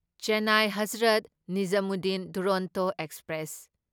Chennai Hazrat Nizamuddin Duronto express